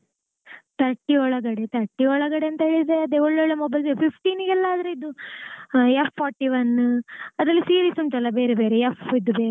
Thirty ಒಳಗಡೆ thirty ಒಳಗಡೆ ಅಂತ ಹೇಳಿದ್ರೆ ಅದೇ ಒಳ್ಳೊಳ್ಳೆ mobile fifteen ಗೆಲ್ಲ ಆದ್ರೆ ಇದು F forty-one ಅದ್ರಲ್ಲಿ series ಉಂಟಲ್ಲ ಬೇರೆ ಬೇರೆ F ದ್ ಬೇರೆ.